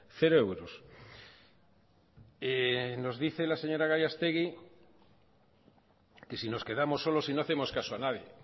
cero euros nos dice la señora gallastegui que si nos quedamos solos y no hacemos caso a nadie